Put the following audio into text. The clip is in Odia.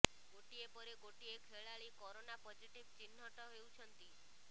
ଗୋଟିଏ ପରେ ଗୋଟିଏ ଖେଳାଳି କରୋନା ପଜିଟିଭ୍ ଚିହ୍ନଟ ହେଉଛନ୍ତି